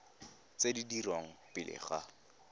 tse di dirwang pele ga